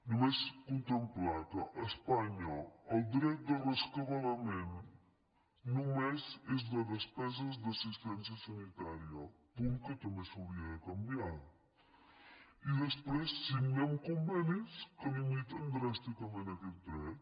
només contemplar que a espanya el dret de rescabalament només és de despesa d’assistència sanitària punt que també s’hauria de canviar i després signem convenis que limiten dràsticament aquest dret